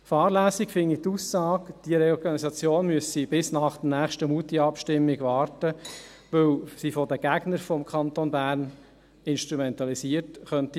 Fahrlässig finde ich die Aussage, diese Reorganisation müsse bis nach der nächsten Moutierabstimmung warten, weil sie von den Gegnern des Kantons Bern instrumentalisiert werden könnte.